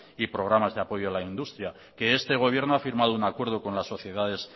y programas de apoyo a la industria que este gobierno ha firmado un acuerdo con las sociedades